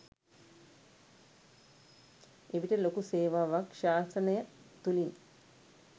එවිට ලොකු සේවාවක් ශාසනය තුළින්